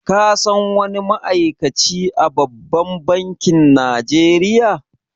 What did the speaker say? Ka san wani ma'aikaci a babban bankin Najeriya?